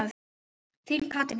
Þín, Katrín Heiða.